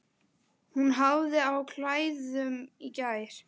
Hún hafði á klæðum í gær.